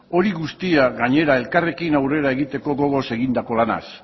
hori guztia gainera elkarrekin aurrera egiteko gogoz egindako lanaz